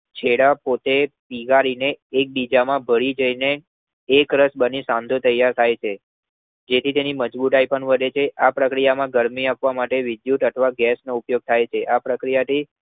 ચેડાં પોતે પીગળીને એકબીજા માં ભળી જાય એક રસ બની સાંધો તૈયાર થાય છે તેથી તેની મજ્બુતાય પણ આધે છે આ પ્રક્રિયામાં ગરમી આપવા માટે વિદ્યુત અથવા ગૅસનો ઉપયોગ થાય છે આ પ્રક્રિયા થી